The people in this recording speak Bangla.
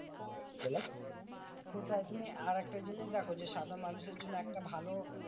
সেটাই তুমি আরেকটা জিনিস দেখো যে, সাধারণ মানুষের জন্য একটা ভালো